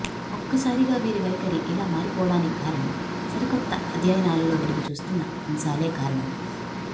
ఒక్కసారిగా వీరి వైఖరి ఇలా మారిపోడానికి కారణం సరికొత్త అధ్యయనాలలో వెలుగుచూస్తున్న అంశాలే కారణం